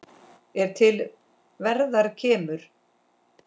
er til verðar kemur